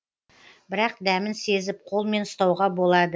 бірақ дәмін сезіп қолмен ұстауға болады